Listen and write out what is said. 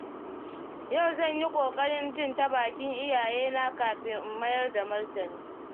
Yau zan yi ƙoƙarin jin ta bakin iyayena kafin in mayar da martani.